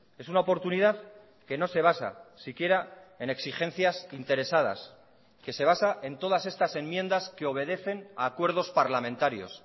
es una oportunidad que no se basa siquiera en exigencias interesadas que se basa en todas estas enmiendas que obedecen a acuerdos parlamentarios